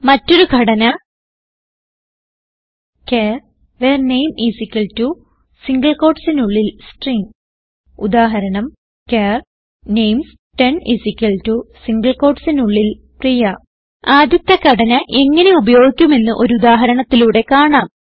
മറ്റൊരു ഘടന char var name single quotesനുള്ളിൽ S ട് ർ ഇ ന് g ഉദാഹരണം160 ചാർ names10 സിംഗിൾ quotesനുള്ളിൽ P ർ ഇ യ് a ആദ്യത്തെ ഘടന എങ്ങനെ ഉപയോഗിക്കുമെന്ന് ഒരു ഉദാഹരണത്തിലൂടെ കാണാം